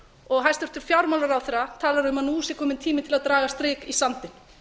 og hæstvirtur fjármálaráðherra talaði um að nú sé kominn tími til að draga strik í sandinn